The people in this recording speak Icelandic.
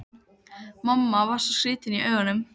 Mamma var svo skrýtin í augunum.